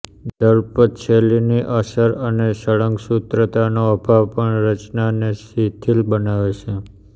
દલપતશૈલીની અસર અને સળંગસૂત્રતાનો અભાવ પણ રચનાને શિથિલ બનાવે છે